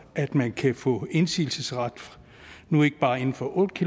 at man kan få indsigelsesret nu ikke bare inden for otte